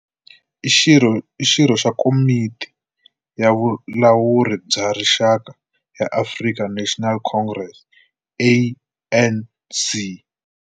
I xirho xa Komiti ya Vulawuri bya Rixaka ya African National Congress, ANC.